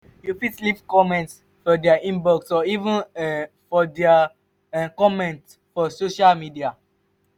you fit leave comment for their inbox or even um for their um comment for social media